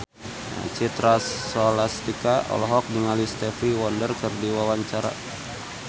Citra Scholastika olohok ningali Stevie Wonder keur diwawancara